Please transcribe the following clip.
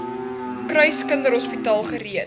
kruis kinderhospitaal gereed